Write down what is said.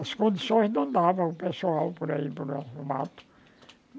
As condições não dava o pessoal por aí mato